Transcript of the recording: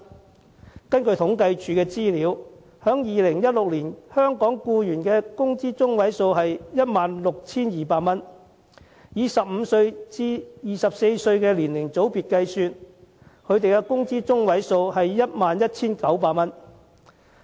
根據政府統計處的資料 ，2016 年香港僱員的工資中位數是 16,200 元；以15歲至24歲年齡組別計算，工資中位數是 11,900 元。